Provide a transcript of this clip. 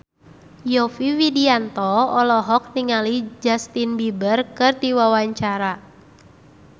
Yovie Widianto olohok ningali Justin Beiber keur diwawancara